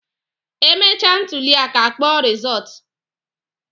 E mechaa ntụlịaka a kpọọ rizọọtụ